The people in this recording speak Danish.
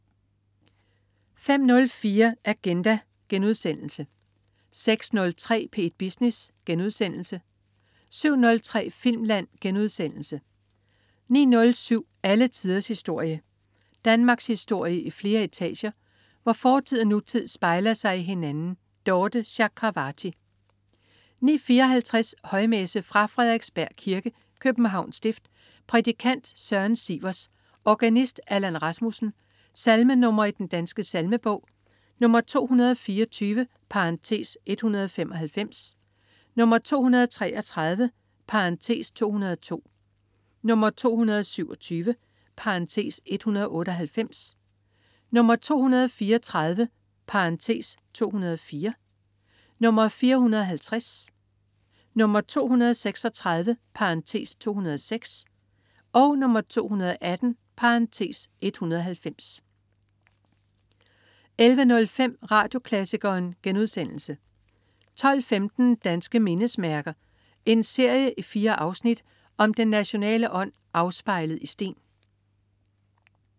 05.04 Agenda* 06.03 P1 Business* 07.03 Filmland* 09.07 Alle tiders historie. Danmarkshistorie i flere etager, hvor fortid og nutid spejler sig i hinanden. Dorthe Chakravarty 09.54 Højmesse. Fra Frederiksberg Kirke, Københavns Stift. Prædikant: Søren Sivers. Organist: Allan Rasmussen. Salmenr. i Den Danske Salmebog: 224 (195), 233 (202), 227 (198), 234 (204), 450, 236 (206), 218 (190) 11.05 Radioklassikeren* 12.15 Danske mindesmærker. En serie i fire afsnit om den nationale ånd afspejlet i sten